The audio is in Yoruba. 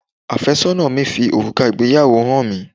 Àfẹ́sọ́nà mi fi òrùka ìgbéyàwó hàn mi